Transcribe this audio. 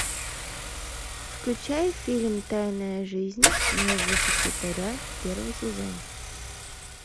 включай фильм тайная жизнь моего секретаря первый сезон